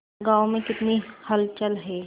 गांव में कितनी हलचल है